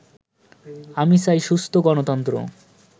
আমি চাই সুস্থ গণতন্ত্র